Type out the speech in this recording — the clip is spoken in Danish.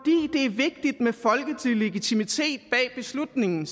vigtigt med folkelig legitimitet bag beslutningen